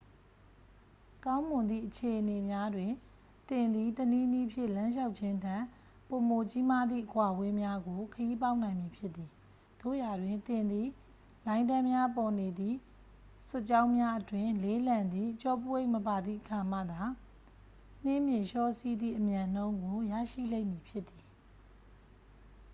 ကောင်းမွန်သည့်အခြေအနေများတွင် သင်သည် တစ်နည်းနည်းဖြင့် လမ်းလျှောက်ခြင်းထက် ပိုမိုကြီးမားသည့် အကွာအဝေးများကို ခရီးပေါက်နိုင်မည်ဖြစ်သည် သို့ရာတွင် သင်သည် လိုင်းတန်းများပေါ်နေသည့် စွတ်ကြောင်းများအတွင်း လေးလံသည့် ကျောပိုးအိတ်မပါသည့်အခါမှသာ နှင်းပြင်လျှောစီးသည့်အမြန်နှုန်းကို ရရှိလိမ့်မည်ဖြစ်သည်